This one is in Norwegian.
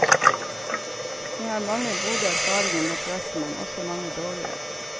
Jeg har mange gode erfaringer med pressen, men også mange dårlige.